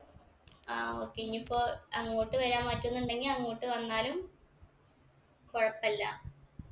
ആ okay ഇനീപ്പോ അങ്ങോട്ട് വരാൻ പറ്റുന്നുണ്ടെങ്കി അങ്ങോട്ട് വന്നാലും കൊഴപ്പില്ല